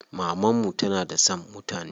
Maman mu tana da son mutane.